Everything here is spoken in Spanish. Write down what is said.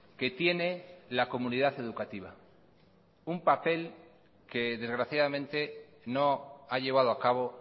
que tiene la comunidad educativa un papel que desgraciadamente no ha llevado a cabo